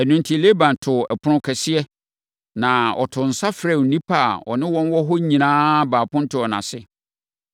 Ɛno enti, Laban too ɛpono kɛseɛ, na ɔtoo nsa frɛɛ nnipa a na ɔne wɔn wɔ hɔ nyinaa baa apontoɔ no ase.